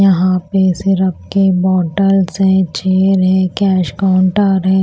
यहां पे सिरप के बॉटल्स है चेयर है कैश काउंटर है।